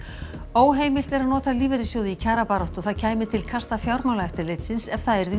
óheimilt er að nota lífeyrissjóði í kjarabaráttu og það kæmi til kasta Fjármálaeftirlitsins ef það yrði